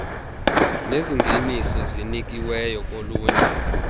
nezingeniso zinikiweyo kolunye